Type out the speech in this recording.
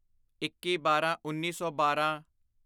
ਇੱਕੀਬਾਰਾਂਉੱਨੀ ਸੌ ਬਾਰਾਂ